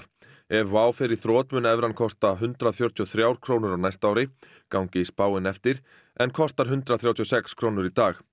ef Wow fer í þrot mun evran kosta hundrað fjörutíu og þrjár krónur á næsta ári gangi spáin eftir en kostar hundrað þrjátíu og sex krónur í dag